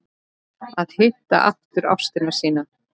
Að hitta aftur ástina sína